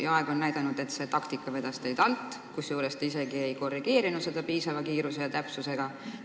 Paraku on aeg näidanud, et see taktika vedas teid alt, aga te ei korrigeerinud oma avaldust piisavalt kiiresti ja täpselt.